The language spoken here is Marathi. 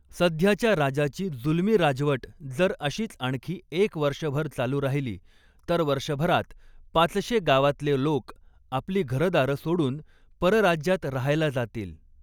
सध्याच्या राजाची जुलमी राजवट जर अशीच आणखी एक वर्षभर चालू राहिली, तर वर्षभरात पाचशे गावातले लोक आपली घरदारं सोडून परराज्यात रहायला जातील.